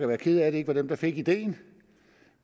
være ked af at det ikke var dem der fik ideen